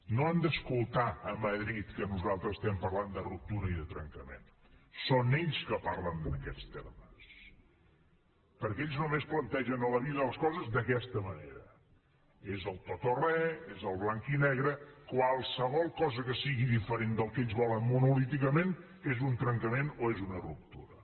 no han d’escoltar a madrid que nosaltres estem parlant de ruptura i de trencament són ells que parlen en aquests termes perquè ells només plantegen a la vida les coses d’aquesta manera és el el tot o re és el blanc i negre qualsevol cosa que sigui diferent del que ells volen monolíticament és un trencament o és una ruptura